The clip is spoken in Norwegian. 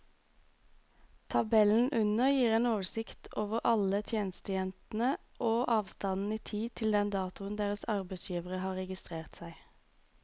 Tabellen under gir en oversikt over alle tjenestejentene og avstanden i tid til den datoen deres arbeidsgivere har registrert seg.